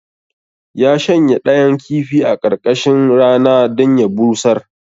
Ya shanya ɗayan kifi a ƙarƙashin rana dan ya busar